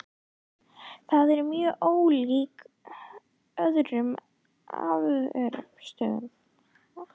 Það er mjög ólíkt öðrum afvötnunarstöðvum.